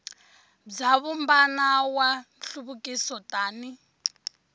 bya vumbano wa nhluvukiso tani